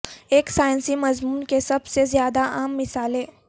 ایک سائنسی مضمون کے سب سے زیادہ عام مثالیں